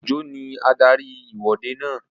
Òjó ní adarí ìwọ́de náà